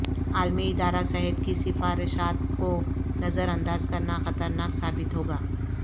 عالمی ادارہ صحت کی سفارشات کو نظر انداز کرنا خطرناک ثابت ہوگا